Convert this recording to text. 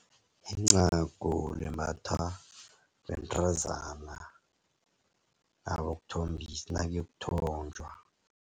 Incagu limbathwa bentazana abayokuthombisa nakuyokuthonjwa.